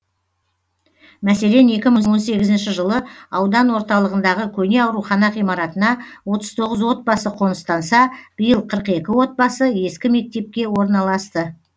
мәселен екі мың он сегізінші жылы аудан орталығындағы көне аурухана ғимаратына отыз тоғыз отбасы қоныстанса биыл қырық екі отбасы ескі мектепке орналасты